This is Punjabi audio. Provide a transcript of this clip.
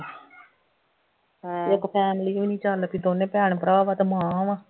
ਇੱਕ family ਹੋਈ ਨਹੀਂ ਚੱਲ ਕਿ ਦੋਨੇਂ ਭੈਣ ਭਰਾ ਵਾ ਤੇ ਮਾਂ ਵਾ